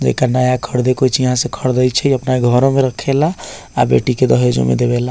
जकड़ा नया खरीदे के होय छै यहां से खरीदे छै अपना घरों में रखेला आ बेटी के दहेजो में देवेला।